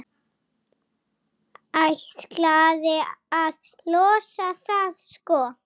Ætlaði að losa það, sko.